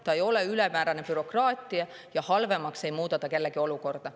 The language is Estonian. See ei ole ülemäärane bürokraatia ja halvemaks ei muuda ta kellegi olukorda.